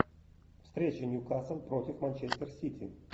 встреча ньюкасл против манчестер сити